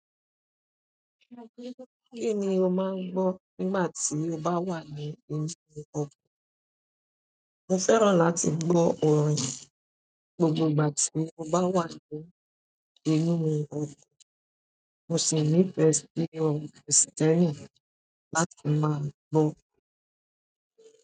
Kíni ó máa ń gbọ́ nígbà tí ó bá wà ní inú ọkọ̀? Mo fẹ́ràn láti gbọ́ orin gbogbo ìgbà tí mo bá wà ní inú mi ọkọ̀, mo sì nífẹ̀ẹ́ sí orin Kristẹni láti máa gbọ́.